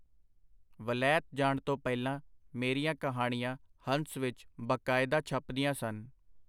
ਵਲੈਤ ਜਾਣ ਤੋਂ ਪਹਿਲਾਂ ਮੇਰੀਆਂ ਕਹਾਣੀਆਂ ਹੰਸ ਵਿਚ ਬਾਕਾਇਦਾ ਛਪਦੀਆਂ ਸਨ.